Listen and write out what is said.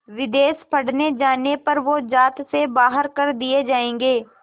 विदेश पढ़ने जाने पर वो ज़ात से बाहर कर दिए जाएंगे